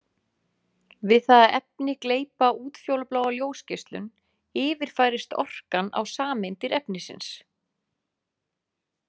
Við það að efni gleypa útfjólubláa ljósgeislun yfirfærist orkan á sameindir efnisins.